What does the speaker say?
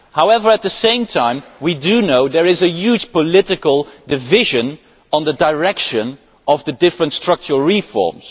However, at the same time we do know there is a huge political division on the direction of the different structural reforms.